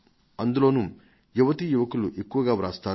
అందులోనూ యువతీ యువకులు ఎక్కువగా రాస్తారు